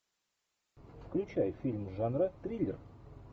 включай фильм жанра триллер